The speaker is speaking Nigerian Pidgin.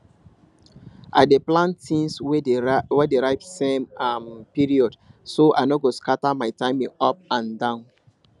i dey plant things wey dey ripe same um period so i no go scatter my timing up and down